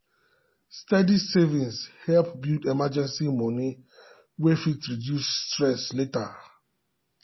steady saving help build emergency moni wey fit reduce stress later.